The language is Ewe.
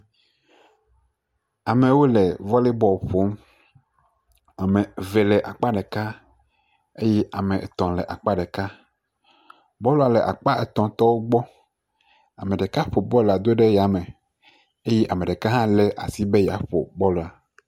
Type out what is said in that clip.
Amewo le vɔlebɔl ƒom. Ame eve le akpa ɖeka eye ame etɔ̃ le akpa ɖeka. Bɔl la le akpa etɔ̃ tɔwo gbɔ. Ame ɖeka ƒo bɔl la do ɖe yame eye ame ɖeka hã le asi be yeaƒo bɔl la.